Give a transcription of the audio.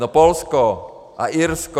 No Polsko a Irsko.